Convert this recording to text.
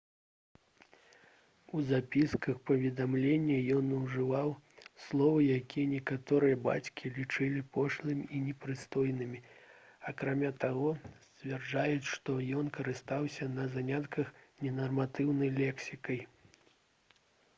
у запісках і паведамленнях ён ужываў словы якія некаторыя бацькі лічылі пошлымі і непрыстойнымі акрамя таго сцвярджаюць што ён карыстаўся на занятках ненарматыўнай лексікай